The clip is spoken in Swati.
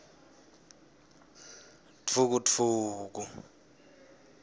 dvukudvuku